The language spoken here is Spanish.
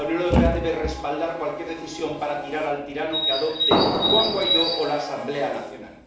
La Unión Europea debe respaldar cualquier decisión para tirar al tirano que adopte Juan Guaidó o la Asamblea Nacional.